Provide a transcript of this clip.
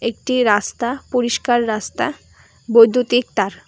একটি রাস্তা পরিষ্কার রাস্তা বৈদ্যুতিক তার।